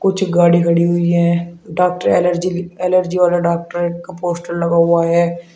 कुछ गाड़ी खड़ी हुई है डॉक्टर एलर्जी ली एलर्जी वाला डॉक्टर का पोस्टर लगा हुआ है।